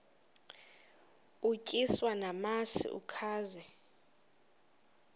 utyiswa namasi ukaze